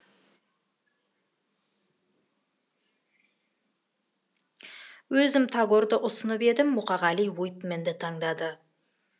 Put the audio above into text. өзім тагорды ұсынып едім мұқағали уитменді таңдады